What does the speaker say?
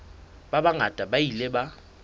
ba bangata ba ile ba